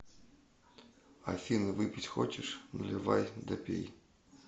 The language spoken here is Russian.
афина выпить хочешь наливай да пей